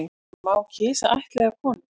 En má kisa ættleiða konu